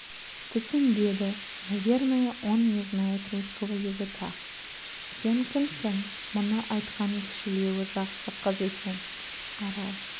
түсінбеді наверное он не знает русского языка сен кімсің мұны айтқан кішілеуі жақсы қыз екен арал